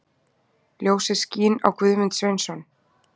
Ljósið skín á Guðmund Sveinsson.